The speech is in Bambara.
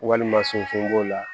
Walima sonforo b'o la